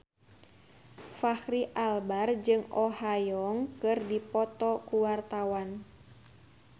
Fachri Albar jeung Oh Ha Young keur dipoto ku wartawan